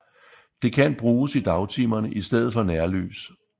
Det kan bruges i dagtimerne i stedet for nærlys